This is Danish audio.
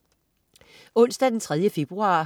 Onsdag den 3. februar